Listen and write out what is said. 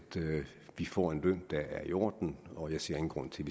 vi får en løn der er i orden og jeg ser ingen grund til